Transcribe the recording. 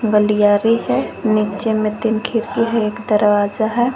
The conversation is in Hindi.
गलियारी है नीचे में तीन खिड़की है एक दरवाजा है।